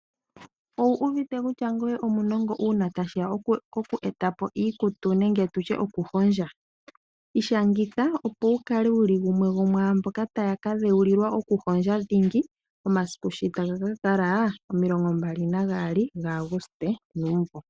Owu uvite kutya ngoye omunongo uuna tashi ya poku eta po iikutu nenge tutye okuhondja? Ishangitha opo wu kale wuli gumwe gomwaamboka taya ka dheulilwa okuhondja dhingi, omasiku sho taga ka kala omilongo mbali na gaali gaAguste nuumvo.